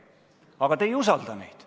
Aga te ei usalda neid.